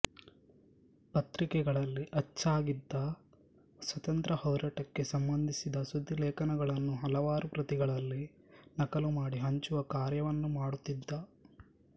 ಪತ್ರಿಕೆಗಳಲ್ಲಿ ಅಚ್ಚಾಗಿದ್ದ ಸ್ವಾತ್ರಂತ್ರ್ಯ ಹೋರಾಟಕ್ಕೆ ಸಂಬಂಧಿಸಿದ ಸುದ್ದಿಲೇಖನಗಳನ್ನು ಹಲವಾರು ಪ್ರತಿಗಳಲ್ಲಿ ನಕಲು ಮಾಡಿ ಹಂಚುವ ಕಾರ್ಯವನ್ನೂ ಮಾದುತ್ತಿದ್ದ